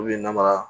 namaya